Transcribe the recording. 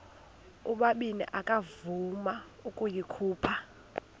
ubabini akavuma ukuyikhupha